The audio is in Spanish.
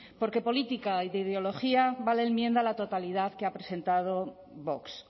porque de política y de biología va la enmienda a la totalidad que ha presentado vox